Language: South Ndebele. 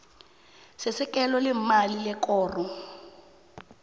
sesekelo leemali lekoro